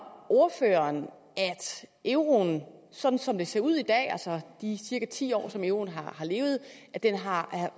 ordføreren at euroen sådan som det ser ud i dag altså de cirka ti år som euroen har levet har